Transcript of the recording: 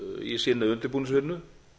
í sinni undirbúningsvinnu